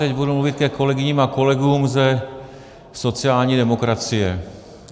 Teď budu mluvit ke kolegyním a kolegům ze sociální demokracie.